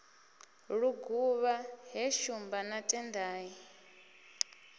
luguvha he shumba na tendai